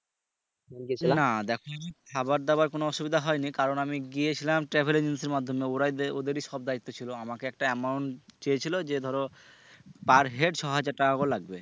না দেখো তুমি খাবার দাবার কোন অসুবধা হয়নি কারন আমি গিয়েছিলাম travel agency এর মাধ্যমে ওরা ওদেরই সব দায়িত্ব ছিলো আমাকে একটা amount চেয়েছিলো যে ধরো per head ছ হাজার টাকা করে লাগবে